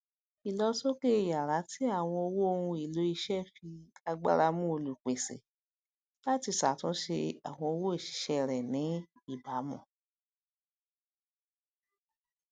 ìlósókè iyára tí àwọn owó ohun èlò ìsè fi agbára mú olùpèsè láti ṣàtúnṣe àwọn owó ìṣiṣẹ rẹ ní ìbámu